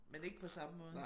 Men ikke på samme måde